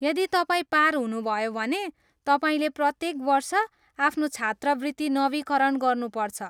यदि तपाईँ पार हुनुभयो भने, तपाईँले प्रत्येक वर्ष आफ्नो छात्रवृत्ति नवीकरण गर्नुपर्छ।